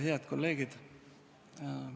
Head kolleegid!